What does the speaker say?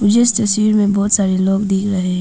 मुझे इस तस्वीर में बहोत सारे लोग दिख रहे--